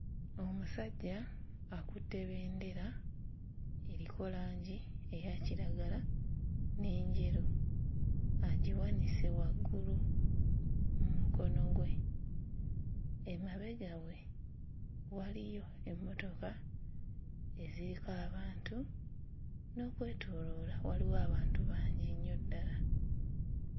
Omusajja akutte bendera eriko langi eya kiragala n'enjeru agiwanise waggulu mu mukono gwe, emabega we waliyo emmotoka eziriko abantu n'okwetooloola waliwo abantu bangi nnyo ddala.